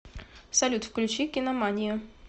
салют включи киноманию